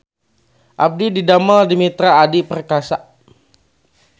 Abdi didamel di Mitra Adi Perkasa